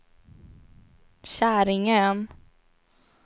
Käringön